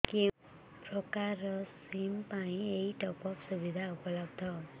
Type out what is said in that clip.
କେଉଁ ପ୍ରକାର ସିମ୍ ପାଇଁ ଏଇ ଟପ୍ଅପ୍ ସୁବିଧା ଉପଲବ୍ଧ